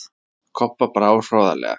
Kobba brá hroðalega.